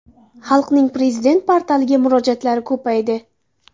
Xalqning Prezident portaliga murojaatlari ko‘paydi.